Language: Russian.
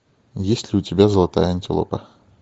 есть ли у тебя золотая антилопа